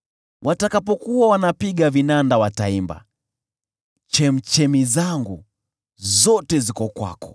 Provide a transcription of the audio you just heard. Watakapokuwa wanapiga vinanda wataimba, “Chemchemi zangu zote ziko kwako.”